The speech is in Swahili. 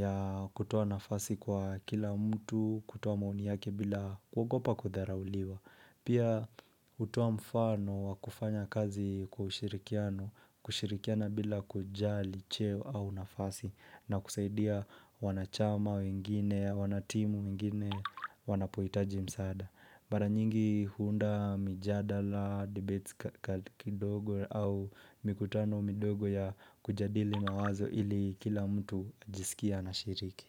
ya kutoa nafasi kwa kila mtu, kutoa maoni yake bila kuogopa kutharauliwa. Pia utoa mfano wa kufanya kazi kwa ushirikiano, kushirikiana bila kujali, cheo au nafasi na kusaidia wanachama wengine, wanatimu wengine, wanapoitaji msaada. Mara nyingi huunda mijadala, dibetika kidogo au mikutano midogo ya kujadili mawazo ili kila mtu ajisikie anashiriki.